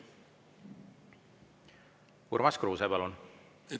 Urmas Kruuse, palun!